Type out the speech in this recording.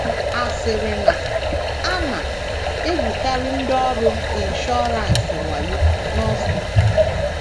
A sịrị na a na - egwukarị ndị ọrụ inshọransị wayo n’Austria.